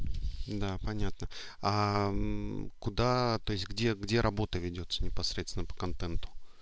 да понятно куда то есть где где работа ведётся непосредственно по контенту